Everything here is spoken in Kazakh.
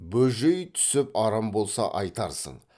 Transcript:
бөжей түсіп арам болса айтарсың